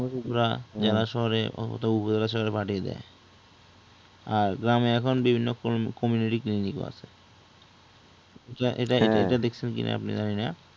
জেলা শহরে উপজেলা শহরে পাঠিয়ে দেয় আর গ্রামে এখন বিভিন্ন community clinic ও আছে এটা এটা দেখছেন কিনা আপনি জানি না